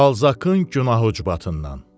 Balzakın günahı ucbatından.